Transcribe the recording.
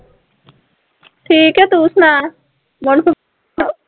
ਠੀਕ ਹੈ ਤੂੰ ਸੁਣਾ